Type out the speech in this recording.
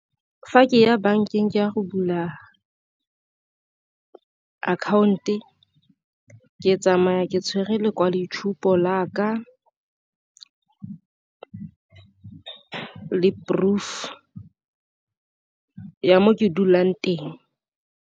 Fa ke ya bankeng ke ya go bula account-e ke tsamaya ke tshwere lekwalo itshupo la ka le proof-u ya mo ke dulang teng.